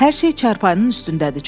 Hər şey çarpayının üstündədir.